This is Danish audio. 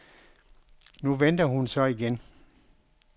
Nu venter hun så igen.